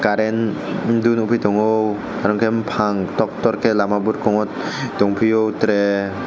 current buduk nukgui tongo aro khe buphang kotor kotor khai lama burkhungo tongphio tra.